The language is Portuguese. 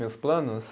Meus planos?